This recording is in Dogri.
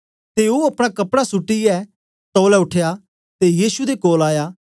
ते ओ अपना कपड़ा सुट्टीयै तौलै उठया ते यीशु दे कोल आया